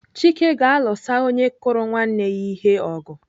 Chike ga-alụsa onye kụrụ nwanne ya ihe ọgụ.